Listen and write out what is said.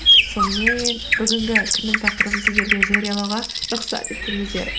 сонымен бүгінгі күннің тақырыбын сіздерге жариялауға рұқсат етіңіздер